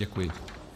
Děkuji.